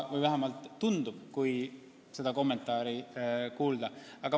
Vähemalt tundub nii, kui teie kommentaari järgi otsustada.